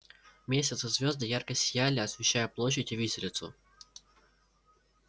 месяц и звезды ярко сияли освещая площадь и виселицу